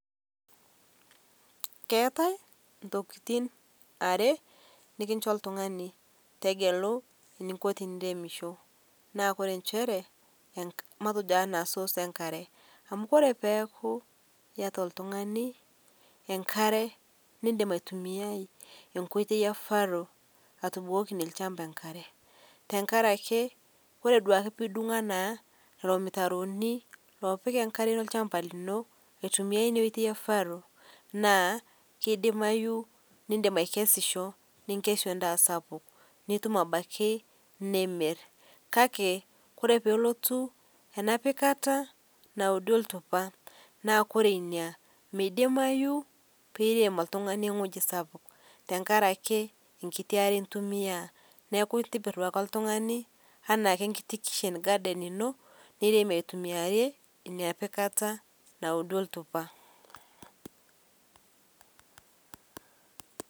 Keatae ntokitin are nikincho iltungani tegelu ninko teniremisho, naa kore inchere matejo anaa soos enkare ore peaku ieta oltungani enkare niindim aitumiyai enkoitoi e faro atubukokinye ilchamba enkare tengaraki kore duake piidung anaa irmitaroni oopik inkare olchamba lino aitumiya ina oitoi efaro naa keidimayu niindim aikesisho, ninkeshu endaa sapuk, nitum abaki niimir kake kore peelotu enapikata naudi oltupa naaku kore inia meidimayu piim oltungani wueji sapuk tengaraki nkiti are intumiyaa, neaku intibir duake iltungani enaa ake enkiti kitchen garden ino nirem aitumiaire inapikata naudi oltupa.